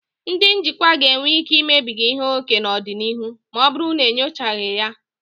Ndị njikwa ga-enwe ike imebiga ihe ókè n'ọdịnihu ma ọ bụrụ na enyochaghị ya.